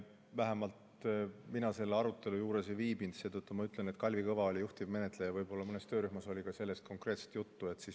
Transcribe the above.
Vähemalt mina selle arutelu juures ei viibinud, seetõttu ma ütlen, et Kalvi Kõva oli juhtivmenetleja ja võib-olla mõnes töörühmas oli sellest konkreetselt juttu.